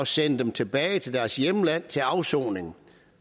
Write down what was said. sende dem tilbage til deres hjemland til afsoning